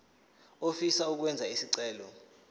ofisa ukwenza isicelo